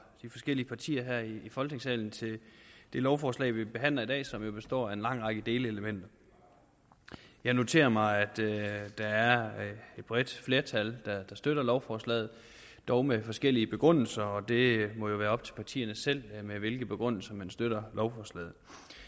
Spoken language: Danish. de forskellige partier her i folketingssalen til det lovforslag vi behandler i dag som består af en lang række delelementer jeg noterer mig at der er et bredt flertal der støtter lovforslaget dog med forskellige begrundelser og det må jo være op til partierne selv med hvilke begrundelser man støtter lovforslaget